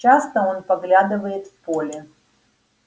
часто он поглядывает в поле